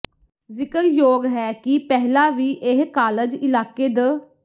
ਜ਼ਿਕਰਯੋਗ ਹੈ ਕਿ ਪਹਿਲਾ ਵੀ ਇਹ ਕਾਲਜ ਇਲਾਕੇ ਦ